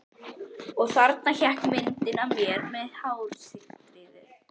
Og þarna hékk myndin af mér með hárstrýið.